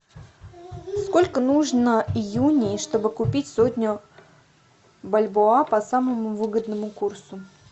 сколько нужно юней чтобы купить сотню бальбоа по самому выгодному курсу